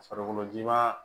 Farikolo ji b'a